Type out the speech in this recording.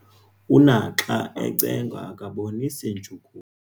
Unaxa ecengwa akabonisi ntshukumo.